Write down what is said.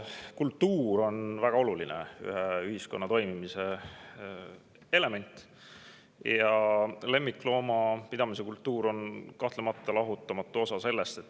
Kultuur on väga oluline ühiskonna toimimise element ja lemmikloomapidamise kultuur on kahtlemata lahutamatu osa sellest.